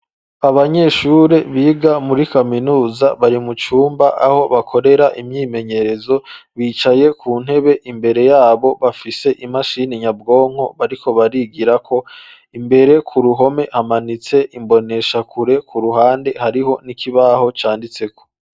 Abanyeshuri biga muri kaminuza ,barimucumba aho bakorera imyimenyerezo, bicaye ku ntebe ,imbere yabo bafise imashini nyabwonko bariko barigirako, imbere ku ruhome hamanitse imboneshakure, ku ruhande hariho n'ikibaho canditseko.